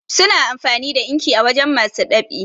suna amfani da inki a wajen masu ɗab'i